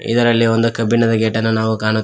ಇದರಲ್ಲಿ ಒಂದು ಕಬ್ಬಿಣದ ಗೇಟನ್ನು ನಾವು ಕಾಣುತ್--